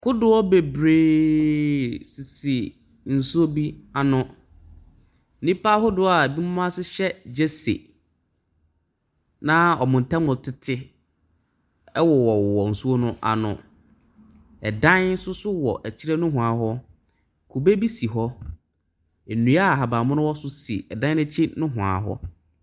Kodoɔ bebree sisi nsuo bi ano. Nipa ahodoɔ a ebi mo ahyehyɛ gyesi na ɔmo ntem tete ɛwowɔ nsuo no ano. Ɛdan soso wɔ ekyire nohwaa hɔ. Kube bi si hɔ. Ndua ahabanmono wɔ so si ɛdan no ekyi nohwaa hɔ.